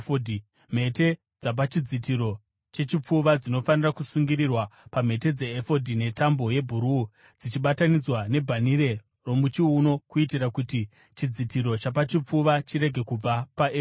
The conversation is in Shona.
Mhete dzepachidzitiro chechipfuva dzinofanira kusungirirwa pamhete dzeefodhi netambo yebhuruu, dzichibatanidzwa nebhanhire romuchiuno, kuitira kuti chidzitiro chapachipfuva chirege kubva paefodhi.